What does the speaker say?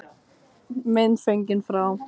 Mynd fengin frá